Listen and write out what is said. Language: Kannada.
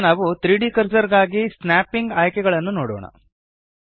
ಈಗ ನಾವು 3ದ್ ಕರ್ಸರ್ ಗಾಗಿ ಸ್ನ್ಯಾಪಿಂಗ್ ಆಯ್ಕೆಗಳನ್ನು ನೋಡೋಣ